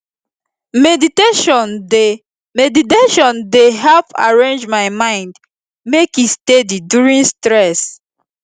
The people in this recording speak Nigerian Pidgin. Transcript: meditation dey meditation dey help arrange my mind make e steady during stress